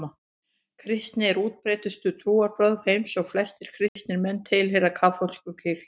Kristni er útbreiddustu trúarbrögð heims og flestir kristnir menn tilheyra kaþólsku kirkjunni.